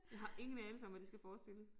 Jeg har ingen anelse om hvad det skal forestille